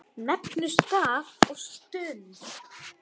Nefndi stað og stund.